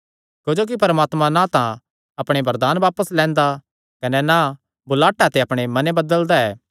क्जोकि परमात्मा ना तां अपणे वरदान बापस लैंदा कने ना बुलाहटा ते अपणे मने बदलदा ऐ